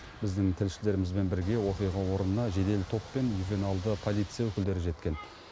біздің тілшілерімізбен бірге оқиға орнына жедел топ пен ювеналды полиция өкілдері жеткен